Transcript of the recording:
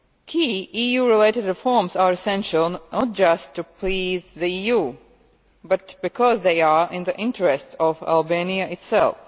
Key EU related reforms are essential not just to please the EU but because they are in the interest of Albania itself.